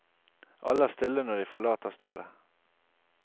Alle er stille når de forlater stedet.